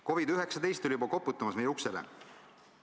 COVID-19 oli juba koputamas meie uksele.